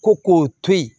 Ko k'o to yen